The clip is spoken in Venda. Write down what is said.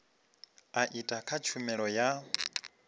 a etd kha tshumelo ya